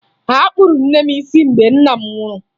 Akpụrụ nne m isi mgbe nna m nwụrụ